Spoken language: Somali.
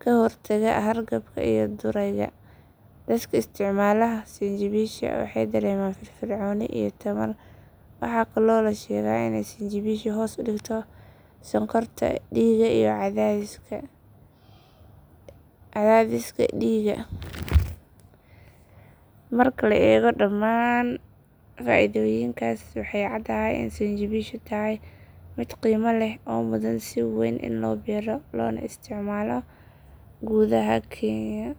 ka hortagtaa hargabka iyo durayga. Dadka isticmaala sinjibisha waxay dareemaan firfircooni iyo tamar. Waxaa kaloo la sheegaa in sinjibishu hoos u dhigto sonkorta dhiigga iyo cadaadiska dhiigga. Marka la eego dhammaan faa’iidooyinkaas waxay cadahay in sinjibishu tahay mid qiimo leh oo mudan in si weyn loo beero loona isticmaalo gudaha kenya.